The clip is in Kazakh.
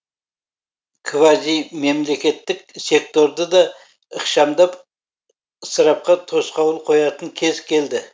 квазимемлекеттік секторды да ықшамдап ысырапқа тосқауыл қоятын кез келді